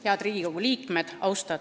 Head Riigikogu liikmed!